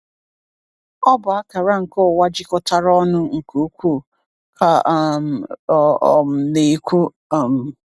"Ọ bụ akara nke ụwa jikọtara ọnụ nke ukwuu," ka um ọ um na-ekwu. um